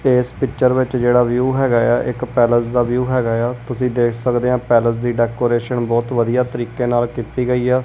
ਇਸ ਪਿੱਚਰ ਵਿੱਚ ਜਿਹੜਾ ਵਿਊ ਹੈਗਾ ਆ ਇੱਕ ਪੈਲਸ ਦਾ ਵਿਊ ਹੈਗਾ ਆ ਤੁਸੀਂ ਦੇਖ ਸਕਦੇ ਆ ਪੈਲਸ ਦੀ ਡੈਕੋਰੇਸ਼ਨ ਬਹੁਤ ਵਧੀਆ ਤਰੀਕੇ ਨਾਲ ਕੀਤੀ ਗਈ।